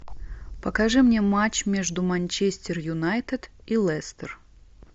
покажи мне матч между манчестер юнайтед и лестер